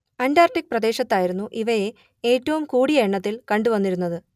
Antarctic പ്രദേശത്തായിരുന്നു ഇവയെ ഏറ്റവും കൂടിയ എണ്ണത്തിൽ കണ്ടു വന്നിരുന്നത്